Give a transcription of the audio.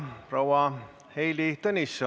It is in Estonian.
Tänan lauljaid ja nende dirigenti Veronika Portsmuthi.